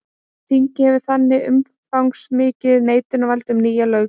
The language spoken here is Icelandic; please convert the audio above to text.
Þingið hefur þannig umfangsmikið neitunarvald um nýja löggjöf.